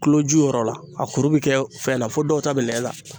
Kuloju yɔrɔ la, a kuru bɛ kɛ fɛn na fo dɔw ta bɛ nɛn ta.